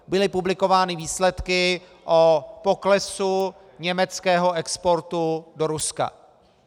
Byly publikovány výsledky o poklesu německého exportu do Ruska.